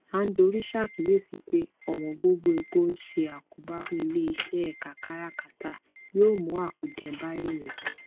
andori ṣàkíyèsí pé ọwọn gógó epo ń ṣe àkóbá fún iléiṣẹ ẹka káràkátà yóò mú àkùdé bá èrè